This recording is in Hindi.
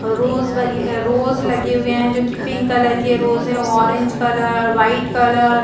रोज लगे रोज लगे हुए है जो की पिंक कलर के रोज है ऑरेंज कलर वाइट कलर --